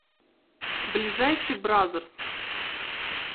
ближайший бразерс